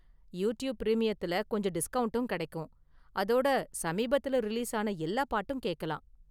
YouTube பிரீமியத்துல கொஞ்சம் டிஸ்கவுண்டும் கிடைக்கும், அதோட சமீபத்துல ரிலீஸ் ஆன எல்லா பாட்டும் கேக்கலாம்.